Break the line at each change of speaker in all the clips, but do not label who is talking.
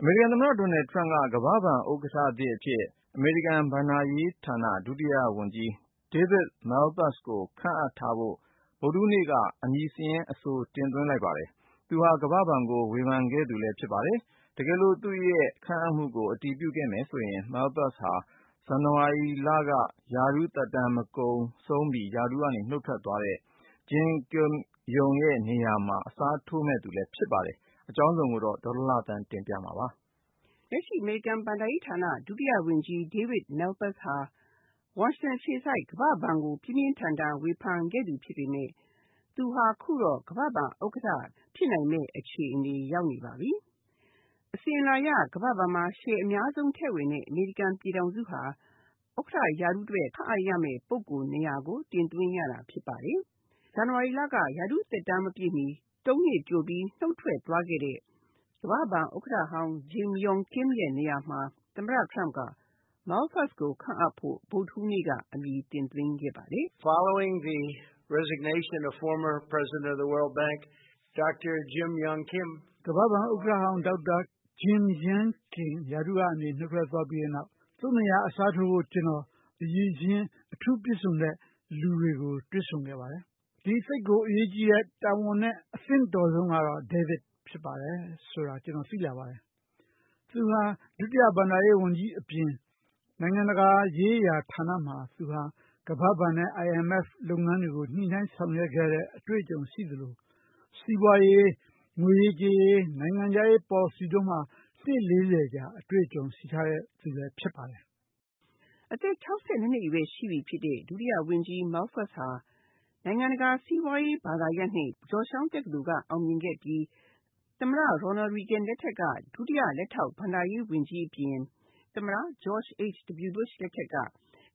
အမေရိကန်သမ္မတဒေါ်နယ်ထရမ့်က ကမ္ဘာ့ဘဏ်ဥက္ကဋ္ဌသစ်အဖြစ် အမေရိကန်ဘဏ္ဍာရေးဌာန ဒုတိယဝန်ကြီး David Malpass ကို ခန့်အပ်ထားဖို့ ဗုဒ္ဓဟူးနေ့က အမည်စာရင်း အဆိုတင်သွင်းလိုက်ပါတယ်။ သူဟာ ကမ္ဘာ့ဘဏ်ကို ဝေဖန်ခဲ့သူလည်း ဖြစ်ပါတယ်။ တကယ်လို့ သူ့ရဲ့ခန့်အပ်မှုကို အတည်ပြုခဲ့မယ်ဆိုရင် Malpass ဟာ ဇန်နဝါရီလက ရာထူးသက်တမ်း ကုန်ဆုံးပြီး ရာထူးက နုတ်ထွက်သွားတဲ့ Jim Yong Kim ရဲ့နေရာမှာ အစားထိုးမယ့်သူလည်း ဖြစ်ပါတယ်။ အကြောင်းစုံကိုတော့ ဒေါ်လှလှသန်းက တင်ပြပေးထားပါတယ်
။ လက်ရှိ အမေရိကန်ဘဏ္ဍာရေးဌာန ဒုတိယဝန်ကြီး David Malpass ဟာ ဝါရှင်တန်အခြေစိုက် ကမ္ဘာ့ဘဏ်ကို ပြင်းပြင်းထန်ထန် ဝေဖန်ခဲ့သူဖြစ်ပေမယ့် သူဟာ အခုတော့ ကမ္ဘာ့ဘဏ်ဥက္ကဋ္ဌ ဖြစ်နိုင်မယ့်အခြေအနေ ရောက်နေပါပြီ။ အစဉ်အလာအရ ကမ္ဘာ့ဘဏ်မှာ ရှယ်ယာအများဆုံးထည့်ဝင်တဲ့ အမေရိကန်ပြည်ထောင်စုဟာ ဥက္ကဋ္ဌရာထူးအတွက် ခန့်အပ်ရမယ့် ပုဂ္ဂိုလ်နေရာကို တင်သွင်းရတာဖြစ်ပါတယ်။ ဇန်နဝါရီလက ရာထူူးသက်တမ်း မပြည့်မီ သုံးနှစ်ကြိုပြီး နုတ်ထွက်သွားခဲ့တဲ့ ကမ္ဘာ့ဘဏ်ဥက္ကဋ္ဌဟောင်း Jim Yong Kim ရဲ့နေရာမှာ သမ္မတ ထရမ့်က Malpass ကို ခန့်အပ်ဖို့ ဗုဒ္ဓဟူးနေ့က အမည်တင်သွင်းခဲ့ပါတယ်
။ “ကမ္ဘာ့ဘဏ်ဥက္ကဋ္
ဌဟောင်း ဒေါက်တာ Jim Yong Kim ရာထူးကနေ နုတ်ထွက်သွားပြီးတဲ့နောက် သူ့နေရာ အစားထိုးဖို့ ကျနော် အရည်အချင်း အထူးပြည့်စုံတဲ့လူတွေကို တွေ့ဆုံခဲ့ပါတယ်။ ဒီသိပ်ကိုအရေးကြီးတဲ့ တာဝန်နဲ့ အသင့်တော်ဆုံးကတော့ David ဖြစ်ပါတယ်ဆိုတာ ကျနော် သိလာပါတယ်။ သူဟာ ဒုတိယဘဏ္ဍာရေးဝန်ကြီးအပြင် နိုင်ငံတကာ ရေးရာဌာနမှာ သူဟာ ကမ္ဘာ့ဘဏ်နဲ့ IMF လုပ်ငန်းတွေကို ညှိနှိုင်းဆောင်ရွက်ခဲ့တဲ့အတွေ့အကြုံရှိသလို စီးပွားရေး၊ ငွေရေးကြေးရေး နိုင်ငံခြားရေးပေါ်လစီတို့မှာ
နှစ်လေးဆယ်ကြာ အတွေ့အကြုံရှိထားတဲ့ သူလည်းဖြစ်ပါတယ်။” အသက် ၆၂ နှစ်အရွယ်ရှိပြီဖြစ်တဲ့ ဒုတိယဝန်ကြီး Marpass ဟာ နိုင်ငံတကာစီးပွားရေးဘာသာရပ်နဲ့ ဂျော့ရှ်တောင်း တက္ကသိုလ်က အောင်မြင်ခဲ့ပြီး သမ္မတရော်နယ်ရီဂင်လက်ထက်က ဒုတိယလက်ထောက် ဘဏ္ဍာရေးဝန်ကြီးအပြင် သမ္မတ George H. W. Bush လက်ထက်က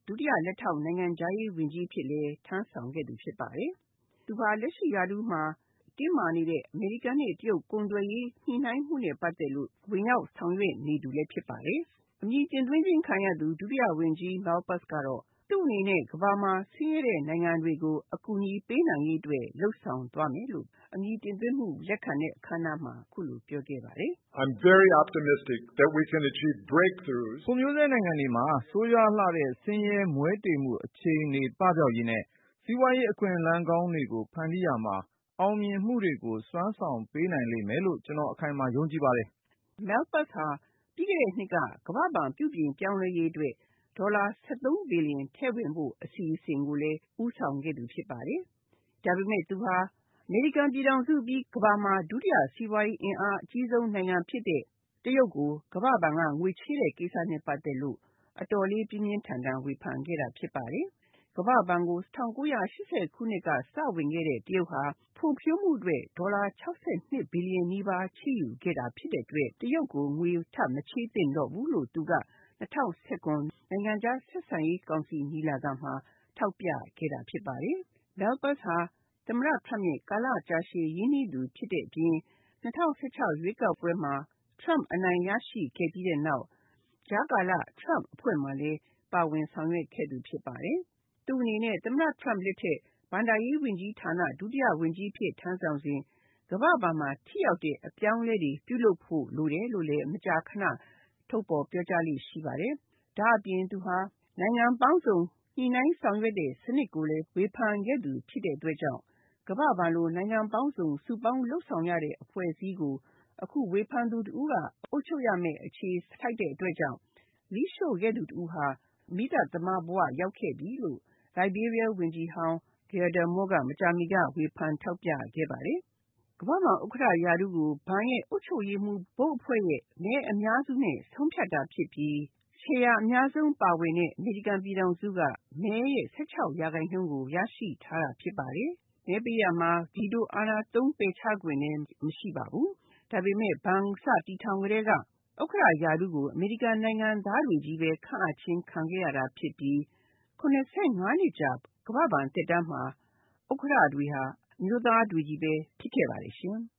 ဒုတိယ လက်ထောက် နိုင်ငံခြားရေးဝန်ကြီးအဖြစ်လည်း ထမ်းဆောင်ခဲ့သူဖြစ်ပါတယ်။ သူဟာ လက်ရှိရာထူးမှာ တင်းမာနေတဲ့ အမေရိကန်နဲ့ တရုတ်ကုန်သွယ်ရေး ညှိနှိုင်းမှုနဲ့ပတ်သက်လို့ ဝင်ရောက်ဆောင်ရွက်နေသူလည်း ဖြစ်ပါတယ်။ အမည်တင်သွင်းခြင်းခံရသူ ဒုတိယဝန်ကြီး Malpass ကတော့ သူ့အနေနဲ့ ကမ္ဘာမှာ ဆင်းရဲတဲ့နိုင်ငံတွေကို အကူအညီပေးနိုင်ရေးအတွက် လုပ်ဆောင်သွားမယ်လို့ အမည်တင်သွင်းတဲ့အခန်းအနားမှာ အခုလို ပြောခဲ့ပါတယ်။
“ဖွံ့ဖြိုးဆဲနိုင်ငံတွေမှာ ဆိုးရွားလှတဲ့ ဆင်းရဲမွဲတေမှုအခြေအနေပပျောက်ရေးနဲ့ စီးပွားရေးအခွင့်အလမ်းကောင်းတွေကို ဖန်တီးရာမှာ အောင်မြင်မှုတွေကို စွမ်းဆောင်ပေးနိုင်လိမ့်မယ်လို့ ကျနော် အခိုင်အမာ ယုံကြည်ပါတယ်။”
Malpass ဟာ ပြီးခဲ့တဲ့နှစ်က ကမ္ဘာ့ဘဏ်ပြုပြင်ပြောင်းလဲရေးအတွက် ဒေါ်လာ ၁၃ ဘီလီယံထည့်ဝင်ဖို့ အစီအစဉ်ကိုလည်း ဦးဆောင်ခဲ့သူ ဖြစ်ပါတယ်။ ဒါပေမယ့် သူဟာ အမေရိကန်ပြည်ထောင်စုပြီးရင် ကမ္ဘာမှာ စီးပွားရေးအင်အား အကြီးဆုံးနိုင်ငံဖြစ်တဲ့ တရုတ်ကို ကမ္ဘာ့ဘဏ်က ငွေချေးတဲ့ကိစ္စနဲ့ပတ်သက်လို့ အတော်လေး ပြင်းပြင်းထန်ထန် ဝေဖန်ခဲ့တာဖြစ်ပါတယ်။ ကမ္ဘာ့ဘဏ်ကို ၁၉၈၀ ခုနှစ်က စဝင်ခဲ့တဲ့ တရုတ်ဟာ ဖွံ့ဖြိုးမှုအတွက် ဒေါ်လာ ၆၂ ဘီလီယံနီးပါး ချေးယူခဲ့တာဖြစ်တဲ့အတွက် တရုတ်ကို ငွေထပ်မချေးသင့်တော့ဘူးလို့ သူက ၂၀၁၇ နိုင်ငံခြားဆက်ဆံရေးကော်မတီညီလာခံမှာ ထောက်ပြခဲ့တာဖြစ်ပါတယ်။ Malpass ဟာ သမ္မတထရမ့်နဲ့ ကာလကြာရှည် ရင်းနှီးသူဖြစ်တဲ့အပြင် ၂၀၁၆ ရွေးကောက်ပွဲမှာ ထရမ့်အနိုင်ရရှိခဲ့ပြီးတဲ့နောက် ကြားကာလ ထရမ့်အဖွဲ့မှာလည်း ပါဝင်ဆောင်ရွက်ခဲ့သူဖြစ်ပါတယ်။ သူ့အနေနဲ့ သမ္မတ ထရမ့်လက်ထက် ဘဏ္ဍာရေးဝန်ကြီးဌာန ဒုတိယဝန်ကြီးအဖြစ် ထမ်းဆောင်စဉ် ကမ္ဘာ့ဘဏ်မှာ ထိရောက်တဲ့အပြောင်းအလဲတွေ ပြုလုပ်ဖို့ လိုတယ်လို့လည်း မကြာခဏ ထုတ်ဖော်ပြောကြားလေ့ရှိပါတယ်။ ဒါ့အပြင် သူဟာ နိုင်ငံပေါင်းစုံ ညှိနှိုင်းဆောင်ရွက်တဲ့စနစ်ကိုလည်း ဝေဖန်ခဲ့သူဖြစ်တဲ့အတွက်ကြောင့် ကမ္ဘာ့ဘဏ်လို နိုင်ငံပေါင်းစုံ စုပေါင်းလုပ်ဆောင်ရတဲ့အဖွဲ့အစည်းကို အခု ဝေဖန်သူတစ်ဦးက အုပ်ချုပ်ရမယ့်အခြေဆိုက်တဲ့အတွက်ကြောင့် မီးရှို့ခဲ့သူတဦးဟာ မီးသတ်သမားဘဝရောက်ခဲ့ပြီလို့ လိုက်ဘေးရီးယား ဝန်ကြီးဟောင်း Gyude Moore က မကြာမီက ဝေဖန်ထောက်ပြခဲ့ပါတယ်။ ကမ္ဘာ့ဘဏ်ဥက္ကဋ္ဌ ရာထူးကို ဘဏ်ရဲ့အုပ်ချုပ်ရေးမှူး ဘုတ်အဖွဲ့ရဲ့ မဲအများစုနဲ့ ဆုံးဖြတ်တာဖြစ်ပြီး ရှယ်ယာအများဆုံးပါဝင်တဲ့ အမေရိကန်ပြည်ထောင်စုက မဲရဲ့ ၁၆ % ကို ရရှိထားတာ ဖြစ်ပါတယ်။ မဲပေးရာမှာ ဗီတိုအာဏာသုံး ပယ်ချခွင့်လည်း မရှိပါဘူး။ ဒါပေမယ့် ဘဏ်ကိုစတည်ထောင်ကတည်းက ဥက္ကဋ္ဌရာထူးကို အမေရိကန်နိုင်ငံသားတွေချည့်ပဲ ခန့်အပ်ခံခဲ့ရတာဖြစ်ပြီး ၇၅ နှစ်ကြာ ကမ္ဘာ့ဘဏ်သက်တမ်းမှာ အမျိုးသားတွေချည့်ပဲ ဖြစ်ခဲ့ပါတယ်ရှင်။